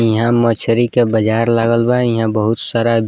इहाँ मछरी के बाजार लागल बा इहाँ बहुत सारा --